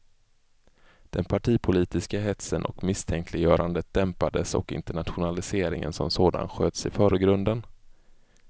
Den partipolitiska hetsen och misstänkliggörandet dämpades och internationaliseringen som sådan sköts i förgrunden.